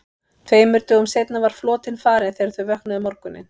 Tveimur dögum seinna var flotinn farinn þegar þau vöknuðu um morguninn.